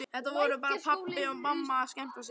Þetta voru bara pabbi og mamma að skemmta sér.